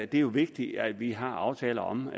det er jo vigtigt at vi har aftaler om